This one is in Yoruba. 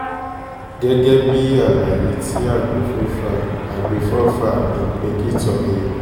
gẹ́gẹ́ bíi àlàyé tí àgbéfọ́fà àgbéfọ́fà ìńpèkìtọ́ e